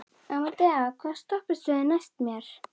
Amadea, hvaða stoppistöð er næst mér?